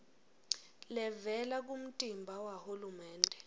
levela kumtimba wahulumende